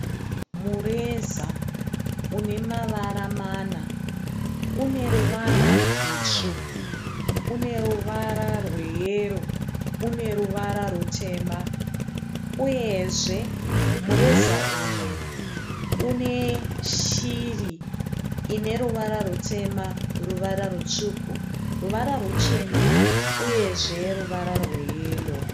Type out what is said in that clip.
Mureza unemavara mana. Uneruvara rwutsvuku, uneruvara rweyero, uneruvara rwutema. Uyezve mureza uyu une shiri ineruvara rutema, ruvara rwutsvuku, ruvara ruchena uyezve ruvara rweyero.